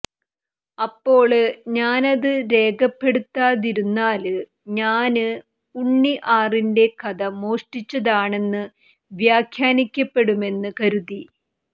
അപ്പോള് ഞാനത് രേഖപ്പെടുത്താതിരുന്നാല് ഞാന് ഉണ്ണി ആറിന്റെ കഥ മോഷ്ടിച്ചതാണെന്ന് വ്യാഖ്യാനിക്കപ്പെടുമെന്ന് കരുതി